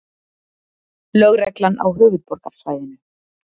Lögreglan á höfuðborgarsvæðinu